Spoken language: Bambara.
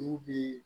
N'u bi